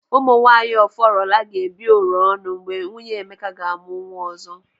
Ụmụ nwaanyị Ọfọrọla ga-ebi oro ọnụ mgbe nwunye Emeka ga-amụ nwa ọzọ.